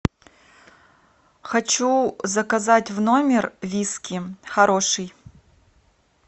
хочу заказать в номер виски хороший